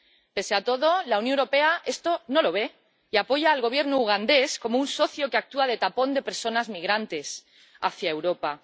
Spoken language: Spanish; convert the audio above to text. Pese a todo, la Unión Europea esto no lo ve y apoya al Gobierno ugandés como un socio que actúa de tapón de personas migrantes hacia Europa.